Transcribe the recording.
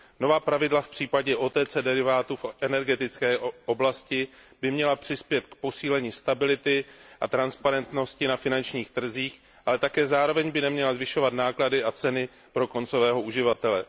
Nová pravidla v případě OTC derivátů v energetické oblasti by měla přispět k posílení stability a transparentnosti na finančních trzích, ale zároveň by neměla zvyšovat náklady a ceny pro koncového uživatele.